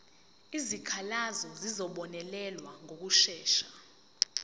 izikhalazo zizobonelelwa ngokushesha